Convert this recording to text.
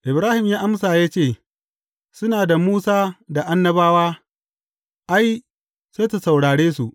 Ibrahim ya amsa ya ce, Suna da Musa da Annabawa, ai, sai su saurare su.’